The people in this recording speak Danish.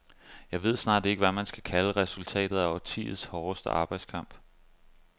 Jeg ved snart ikke, hvad man skal kalde resultatet af årtiets hårdeste arbejdskamp.